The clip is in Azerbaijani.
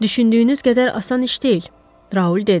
Düşündüyünüz qədər asan iş deyil, Raul dedi.